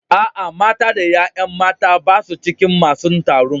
A'a, mata da yayan mata ba su cikin masun taron.